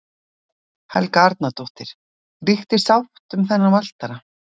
Helga Arnardóttir: Ríkti sátt um þennan valtara?